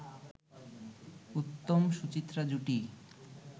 উত্তম-সুচিত্রা জুটি